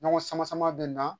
Ɲɔgɔn sama-sama bɛ na